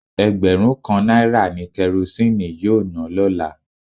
Egberun kan naira ni Kerosene yoo na lola